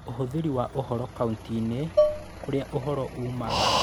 Ũhũthĩri wa ũhoro kaunti-inĩ, kũrĩa ũhoro uumaga